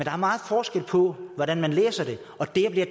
er meget forskel på hvordan man læser det og der bliver